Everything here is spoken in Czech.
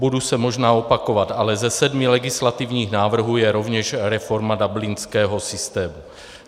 Budu se možná opakovat, ale ze sedmi legislativních návrhů je rovněž reforma dublinského systému.